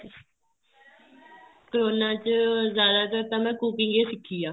corona ਚ ਜਿਆਦਾਤਰ ਮੈਂ cooking ਹੀ ਸਿੱਖੀ ਏ